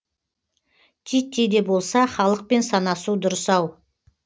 титтей де болса халықпен санасу дұрыс ау